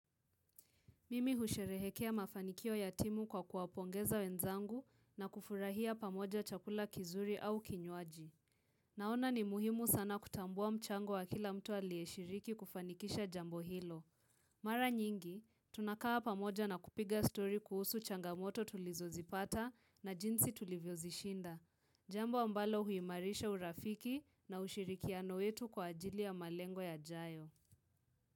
Mimi husherehekea mafanikio ya timu kwa kuwapongeza wenzangu na kufurahia pamoja chakula kizuri au kinywaji. Naona ni muhimu sana kutambua mchango wa kila mtu aliyeshiriki kufanikisha jambo hilo. Mara nyingi, tunakaa pamoja na kupiga story kuhusu changamoto tulizozipata na jinsi tulivyo zishinda. Jambo ambalo huimarisha urafiki na ushirikiano yetu kwa ajili ya malengo yajayo.